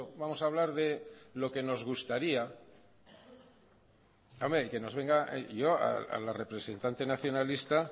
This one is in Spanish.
vamos a hablar de lo que nos gustaría que nos venga yo a la representante nacionalista